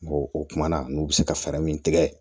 o kumana n'u bɛ se ka fɛɛrɛ min tigɛ